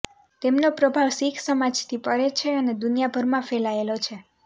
તેમનો પ્રભાવ સિખ સમાજથી પરે છે અને દુનિયાભરમાં ફેલાયેલો છે